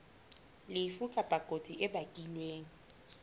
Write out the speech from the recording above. lefu kapa kotsi e bakilweng